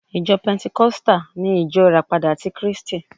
Ìjọ pẹntikọ́stà ni Ìjọ Ìràpadà ti kríístì